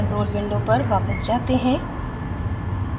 control window पर वापस जाते हैं